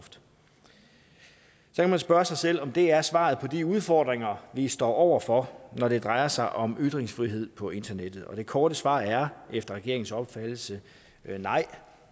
kan man spørge sig selv om det er svaret på de udfordringer vi står over for når det drejer sig om ytringsfrihed på internettet og det korte svar er efter regeringens opfattelse nej